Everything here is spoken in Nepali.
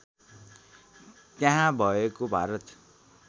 त्यहाँ भएको भारत